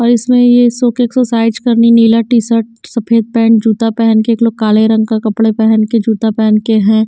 और इसमें ये सो के एक्सरसाइज करने नीला टी शर्ट सफेद पैंट जूता पहन कर एक लोग काले रंग का कपड़े पहन कर जूता पहन के हैं।